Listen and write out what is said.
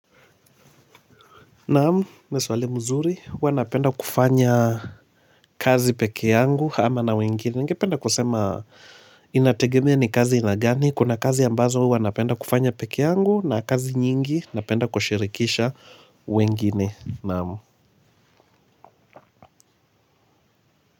Naam, ni swali nzuri, huwa napenda kufanya kazi peke yangu ama na wengine, ningependa kusema inategemea ni kazi ya aina gani, kuna kazi ambazo huwa napenda kufanya peke yangu na kazi nyingi, napenda kushirikisha wengine, naam.